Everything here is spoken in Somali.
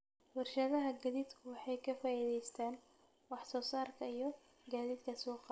Warshadaha gaadiidku waxay ka faa'iideystaan ??wax soo saarka iyo gaadiidka suuqa.